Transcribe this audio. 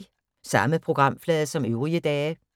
Samme programflade som øvrige dage